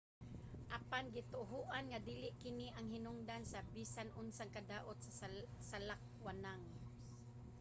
apan gituohan nga dili kini ang hinungdan sa bisan unsang kadaot sa salakwanang